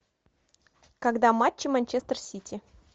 когда матчи манчестер сити